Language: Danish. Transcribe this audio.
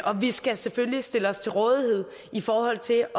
og vi skal selvfølgelig stille os til rådighed i forhold til at